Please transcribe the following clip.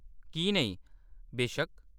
की नेईं, बेशक्क।